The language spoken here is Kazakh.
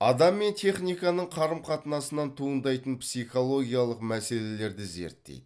адам мен техниканың қарым қатынасынан туындайтын психологиялық мәселелерді зерттейді